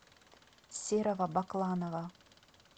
серого бакланова